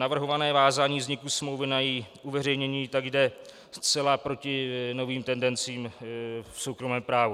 Navrhované vázání vzniku smlouvy na její uveřejnění tak jde zcela proti novým tendencím v soukromém právu.